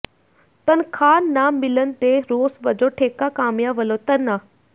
ਤਨਖਾਹ ਨਾ ਮਿਲਣ ਦੇ ਰੋਸ ਵਜੋਂ ਠੇਕਾ ਕਾਮਿਆਂ ਵੱਲੋਂ ਧਰਨਾ